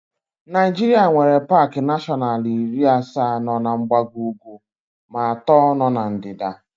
Naịjirịa nwere paaki nashọnalu iri, asaa nọ na mgbago ugwu ma atọ nọ na ndịda.